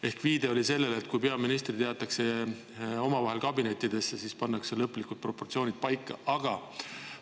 Ehk viide oli sellele, et kui peaministrid jäetakse omavahel kabinettidesse, pannakse ka proportsioonid lõplikult paika.